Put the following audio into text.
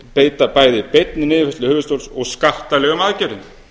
beita bæði beinni niðurfærslu höfuðstóls og skattalegum aðgerðum